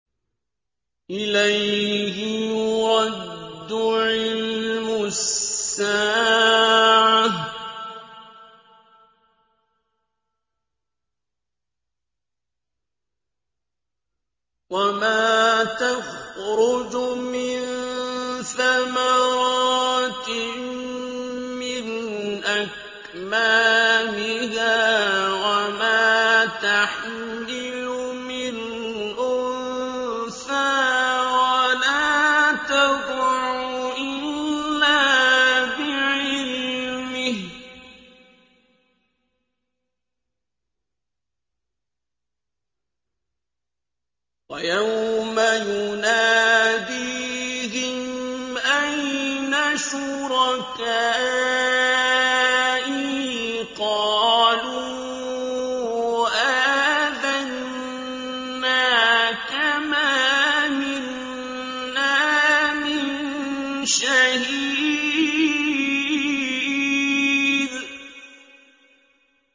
۞ إِلَيْهِ يُرَدُّ عِلْمُ السَّاعَةِ ۚ وَمَا تَخْرُجُ مِن ثَمَرَاتٍ مِّنْ أَكْمَامِهَا وَمَا تَحْمِلُ مِنْ أُنثَىٰ وَلَا تَضَعُ إِلَّا بِعِلْمِهِ ۚ وَيَوْمَ يُنَادِيهِمْ أَيْنَ شُرَكَائِي قَالُوا آذَنَّاكَ مَا مِنَّا مِن شَهِيدٍ